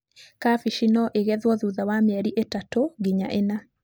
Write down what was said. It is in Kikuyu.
Kabici no igethwo thutha wa mĩeri ĩtatũ nginya inya.